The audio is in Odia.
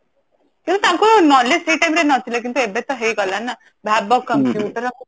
ସେ ତାଙ୍କୁ knowledge ସେ time ରେ ନଥିଲା କିନ୍ତୁ ଏବେତ ହେଇ ଗଲା ନା ଭାବ computer